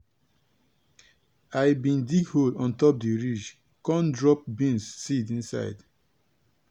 i bin dig hole on top di ridge con drop bean seed inside.